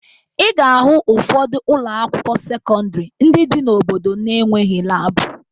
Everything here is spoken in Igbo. Ị ga-ahụ ụfọdụ ụlọakwụkwọ sekọndịrị ndị dị n'obodo na-enweghi laabụ